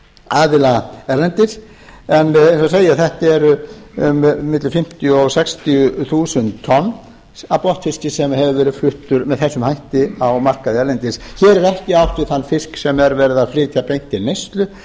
aðila erlendis en eins og segir þetta er á milli fimmtíu og sextíu þúsund tonn af botnfiski sem hefur fluttur með þessum hætti á markaði erlendis hér er ekki átt við þann fisk sem er verið að flytja beint til neyslu